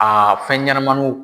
fɛnɲɛnamaninw.